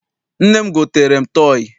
Nne m gotere m tọọyị.